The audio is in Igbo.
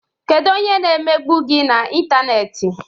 Kedu onye na-emegbu gị na intanneti?